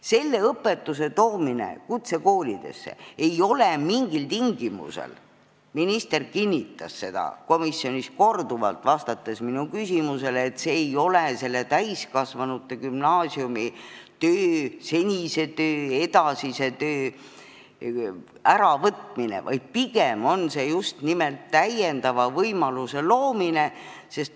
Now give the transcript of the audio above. Selle õpetuse toomine kutsekoolidesse ei ole mingil tingimusel – minister kinnitas seda komisjonis korduvalt, vastates minu küsimusele – täiskasvanute gümnaasiumi senise ja edasise töö äravõtmine, vaid pigem on see just nimelt lisavõimaluse loomine.